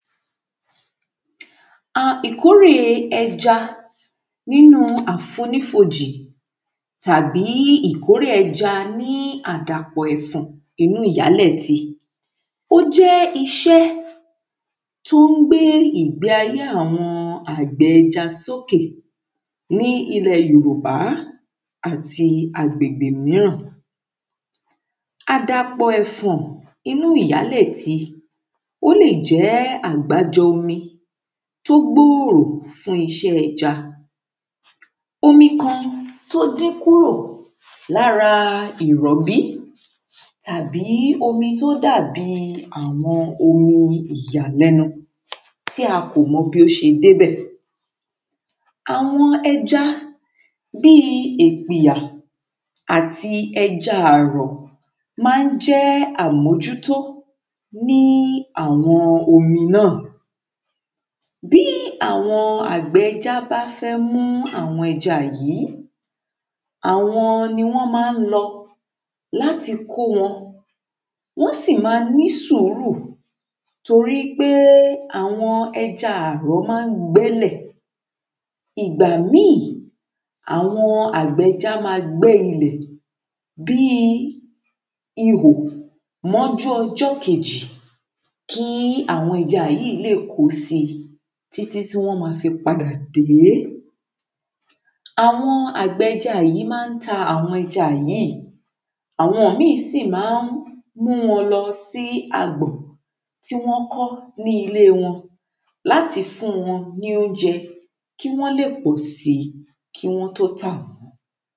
Ìkórè ẹja nínu àfonífojì tàbí ìkórè ẹja ní àdàpọ̀ ẹ̀fọ̀n nínu ìyálẹ̀ti ó jẹ́ iṣẹ́ tó ń gbe ìgbe ayé àwọn àgbẹ̀ ẹja sókè ní ilẹ̀ Yorùbá àti agbègbe míràn àdàpọ̀ ẹ̀fọ̀n nínu ìyálẹ̀ti, ó lè jẹ́ àgbájọ omi tó gbòòrò fún iṣẹ́ ẹja omi kan tó dín kúrò lára ìrọ̀bí tàbí omi tó dàbi àwọn omi ìyàlẹ́nu tí a kò mọ bí ó ṣe débẹ̀. àwọn ẹja bíi ègbìyà, àti ẹja àrọ̀ ma ń jẹ́ àmójútó ní àwọn omi náà bí àwọn àgbẹ̀ ẹja bá fẹ́ mú àwọn ẹja yìí, àwọn ní wọn máa lò láti kó wọn wọ́n sì máa ní sùúrù torí pé àwọn ẹja àrọ̀ maá gbẹ́lẹ̀ ìgbà míì àwọn àgbẹ̀ ẹja ma ń gbẹ́ ilẹ̀ bíi ihò mọ́jú ọjọ́ kejì kí àwọn ẹja yìí lè kò sí títí tí wọ́n máa fi padà dé àwọn àgbẹ̀ ẹja yìí máa ta àwọn ẹja yìí, àwọn mìí sì máa múu lọ sí agbọ̀n tí wọ́n kọ́ ní ile wọn láti fún wọn ní óúnjẹ kí wọ́n lè kò síi kí wọ́n tó tà wọ́n.